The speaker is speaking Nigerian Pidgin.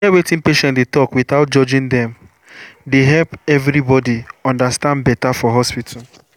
to hear wetin patient dey talk without judging dem dey help everybody understand better for hospital.